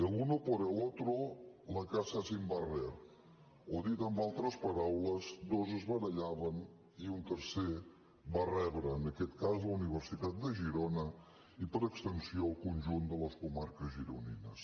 el uno por el otro la casa sin barrer o dit amb altres paraules dos es barallaven i un tercer va rebre en aquest cas la universitat de girona i per extensió el conjunt de les comarques gironines